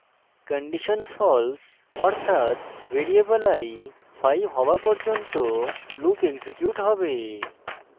condition false অর্থাত variable i 5 হওয়া পর্যন্ত loop এক্সিকিউট হবে